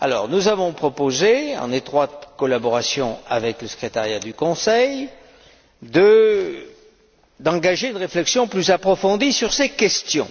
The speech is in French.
Nous avons proposé, en étroite collaboration avec le secrétariat du Conseil, d'engager une réflexion plus approfondie sur ces questions.